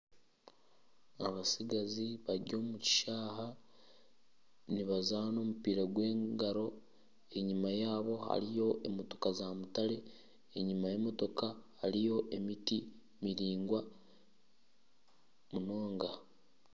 Abatsigazi bari omu kishayi nibazaana omupiira gw'engaro. Enyima yaabo hariyo emotoka za mutare, enyima y'emotoka hariyo emiti miringwa munonga.